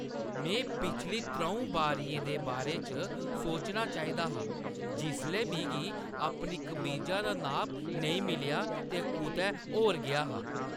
में पिछली त्र'ऊं बारियें दे बारे च सोचना चाहिदा हा जिसलै मिगी अपनी कमीजा दा नाप नेईं मिलेआ ते कुतै होर गेआ हा।